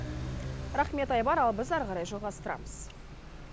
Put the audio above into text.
рахмет айбар ал біз ары қарай жалғастырамыз